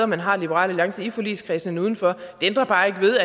man har liberal alliance i forligskredsen end udenfor det ændrer bare ikke ved